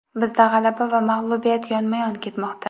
Bizda g‘alaba va mag‘lubiyat yonma-yon ketmoqda.